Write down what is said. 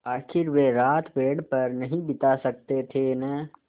आखिर वे रात पेड़ पर नहीं बिता सकते थे न